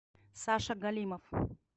саша галимов